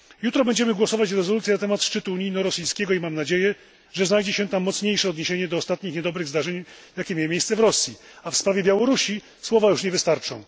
Jutro będziemy głosować nad rezolucją na temat szczytu unijno rosyjskiego i mam nadzieję, że znajdzie się tam mocniejsze odniesienie do ostatnich niedobrych zdarzeń, jakie miały miejsce w Rosji, a w sprawie Białorusi słowa już nie wystarczą.